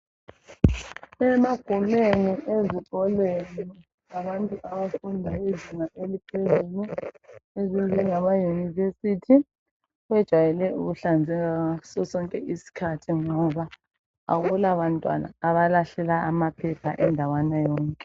Emagumeni ezikolweni zabantu besikolo sezinga eliphezulu, ezinjengamayunivesithi sebejayela ukuhlanzeka ngaso sonke isikhathi, ngoba akulabantwana abancane abalahlela amaphepha indawana yonke.